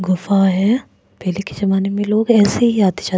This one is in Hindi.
गुफा है पहले के जमाने में लोग ऐसे ही आते जाते।